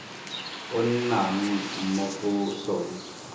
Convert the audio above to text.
o nnang mo go sona